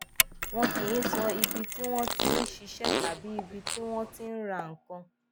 wọn kì í sọ ibi tí wọn ti ń ṣiṣẹ tàbí ibi tí wọn ti ń ra nǹkan